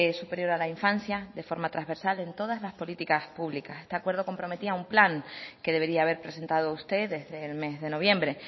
superior a la infancia de forma transversal en todas las políticas públicas este acuerdo comprometía a un plan que debería haber presentado usted desde el mes de noviembre